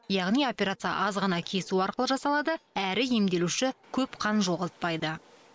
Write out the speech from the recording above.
яғни операция аз ғана кесу арқылы жасалады әрі емделуші көп қан жоғалтпайды